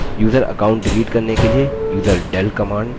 user account delete करने के लिए userdel command